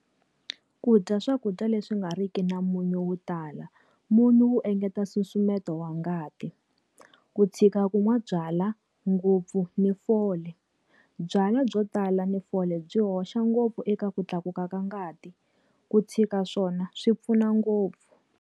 Ku dya swakudya leswi nga ri ki na munyu wo tala. Munhu wu engeta nsusumeto wa ngati. Ku tshika ku nwa byalwa ngopfu ni fole. Byalwa byo tala ni fole byi hoxa ngopfu eka ku tlakuka ka ngati. Ku tshika swona swi pfuna ngopfu.